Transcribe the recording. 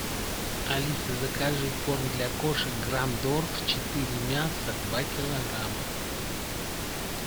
алиса закажи корм для кошек грандорф четыре мяса два килограмма